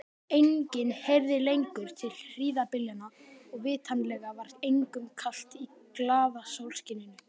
Enginn heyrði lengur til hríðarbyljanna og vitanlega var engum kalt í glaða sólskininu.